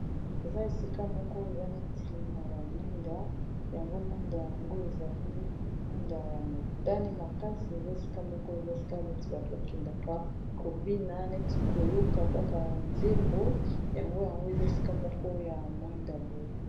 Eza esika moko eza neti na ba mwinda yango mwinda yango ezali mwinda ya motane makasi eza esika moko eza esika neti bato ba kendaka kobina neti koyoka kaka nzembo yango yango eza esika moko ya mwinda boye.